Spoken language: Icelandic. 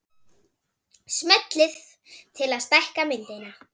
Smellið til að stækka myndina